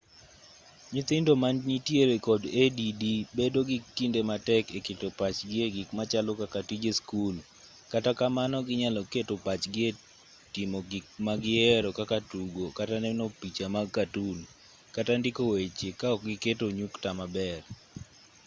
nyithindo ma nitiere kod add bedo gi kinde matek e keto pachgi e gik machalo kaka tije skul kata kamano ginyalo keto pachgi e timo gik ma gihero kaka tugo kata neno picha mag katun kata ndiko weche ka ok giketo nyukta maber